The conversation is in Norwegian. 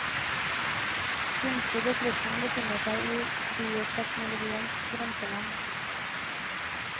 Kunstig befruktning befinner seg i bioteknologiens grenseland.